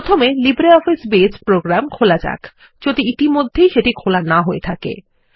প্রথমেLibreOffice base program খোলাযাক যদি ইতিমধ্যেই সেটিখোলা না হয়েথাকে